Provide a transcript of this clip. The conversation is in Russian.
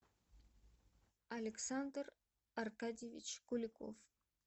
александр аркадьевич куликов